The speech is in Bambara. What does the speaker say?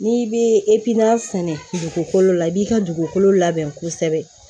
N'i bɛ sɛnɛ dugukolo la i b'i ka dugukolo labɛn kosɛbɛ